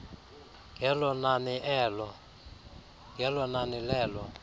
ngelo nani lelo